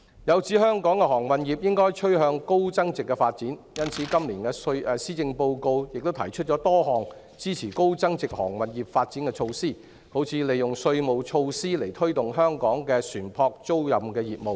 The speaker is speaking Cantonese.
有指香港的航運業應該趨向高增值發展，因此，今年的施政報告亦提出多項支持高增值航運業發展的措施，例如利用稅務措施推動香港的船舶租賃業務。